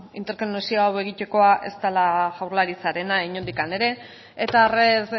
interkonexio hau egitekoa ez dela jaurlaritzarena inondik ere eta red